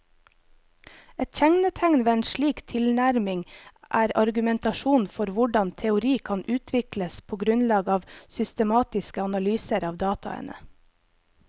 Et kjennetegn ved en slik tilnærming er argumentasjonen for hvordan teori kan utvikles på grunnlag av systematiske analyser av dataene.